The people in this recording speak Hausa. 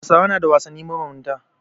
Hausawa na da wasanni mabambanta.